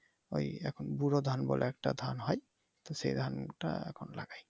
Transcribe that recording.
ওই এখন ব্যুরো ধান বলে একটা ধান হয় তো সে ধানটা এখন লাগাই।